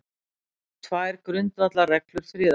Tvær grundvallarreglur friðarsinna